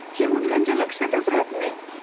ते कुठे त्यांच्या लक्षातच राहत नाही.